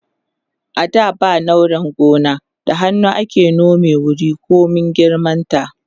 a da ba nauran noma da hannu ake nome wuri komin girman ta